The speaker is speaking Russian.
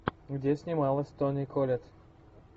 где снималась тони коллетт